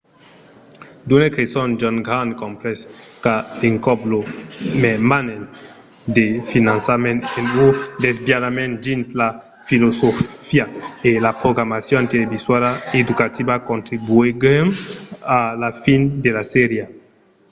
d'unes creson john grant comprés qu'a l’encòp lo mermament de finançament e un desaviament dins la filosofia e la programacion televisuala educativa contribuguèron a la fin de la sèria